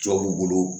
Jɔw b'u bolo